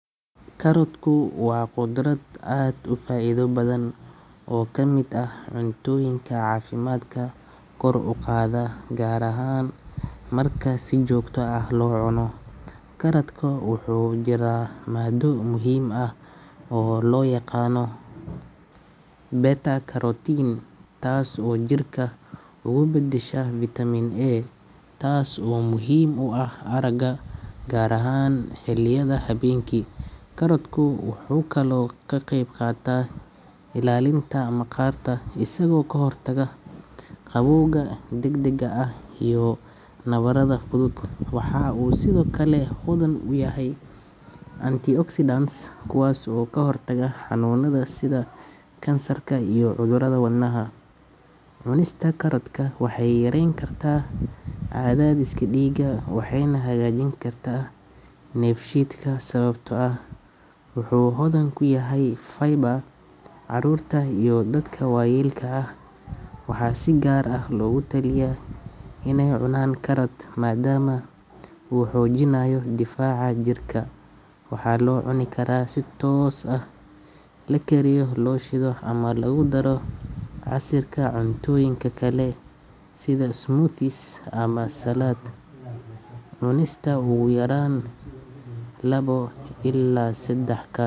Karotku waa khudrad aad u faa’iido badan oo ka mid ah cuntooyinka caafimaadka kor u qaada, gaar ahaan marka si joogto ah loo cuno. Karotka waxaa ku jirta maaddo muhiim ah oo la yiraahdo beta-carotene, taasoo jirka uga beddesha vitamin A, taas oo muhiim u ah aragga, gaar ahaan xilliyada habeenkii. Karotku wuxuu kaloo ka qeyb qaataa ilaalinta maqaarka, isagoo ka hortaga gabowga degdega ah iyo nabarada fudud. Waxa uu sidoo kale hodan ku yahay antioxidants kuwaas oo ka hortaga xanuunada sida kansarka iyo cudurrada wadnaha. Cunista karotka waxay yareyn kartaa cadaadiska dhiigga, waxayna hagaajin kartaa dheefshiidka sababtoo ah wuxuu hodan ku yahay fiber. Carruurta iyo dadka waayeelka ah waxaa si gaar ah loogu taliya inay cunaan karot maadaama uu xoojinayo difaaca jirka. Waxaa la cuni karaa si toos ah, la kariyo, la shiido ama lagu daro casiirka cuntooyinka kale sida smoothies ama salad. Cunista ugu yaraan labo ilaa saddex karot.